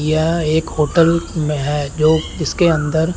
यह एक होटल में है जो इसके अंदर--